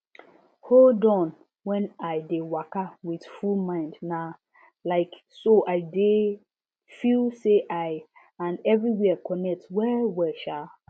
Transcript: hold on when i dey waka with full mind na um so i dey feel say i and everywhere connect wellwell um